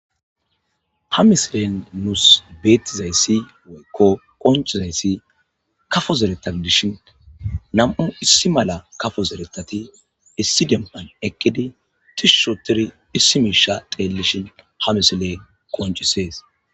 ha misilen nus betizaysi woyko konccizaysii kaffo zeretha gidishin nam'u essi mala kaffo zerethati essi demban eqidi tishi othidi essi misha xellishin ha missiley qonccises.